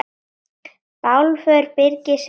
Bálför Birgis hefur farið fram.